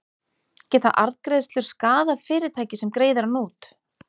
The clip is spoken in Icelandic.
Geta arðgreiðslur skaðað fyrirtækið sem greiðir hann út?